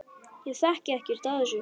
Ég þekki ekkert af þessu.